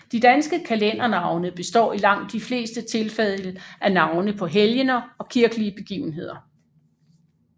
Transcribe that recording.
De danske kalendernavne består i langt de fleste tilfælde af navne på helgener og kirkelige begivenheder